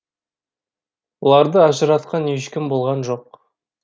оларды ажыратқан ешкім болған жоқ